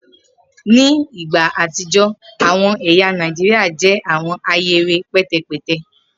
Ni igba atijọ awọn ẹya Naijiria jẹ awọn ahere pẹtẹpẹtẹ